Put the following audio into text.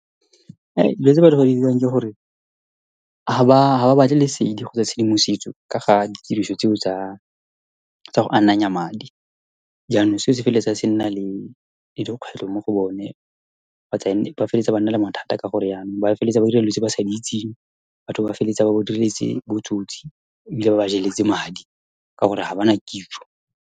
Dilo tse ba di diriwang ke gore ga ba batle le selo ka tshedimosetso ka ga ditiriso tseo tsa go ananya madi. Jaanong se se feleletsa se nna le dikgwetlho mo go bone ba feleletsa ba nna le mathata ka gore yanong ba feleletsa ba dira dilo tse ba sa di itseng, batho ba feleletsa ba botsotsi ebile ba ba jeletse madi ka gore ga ba na kitso.